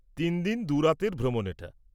তিন দিন দু'রাতের ভ্রমণ এটা।